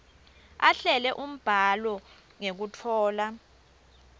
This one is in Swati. ahlele umbhalo ngekutfola